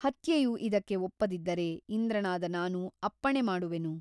ಹತ್ಯೆಯು ಇದಕ್ಕೆ ಒಪ್ಪದಿದ್ದರೆ ಇಂದ್ರನಾದ ನಾನು ಅಪ್ಪಣೆ ಮಾಡುವೆನು.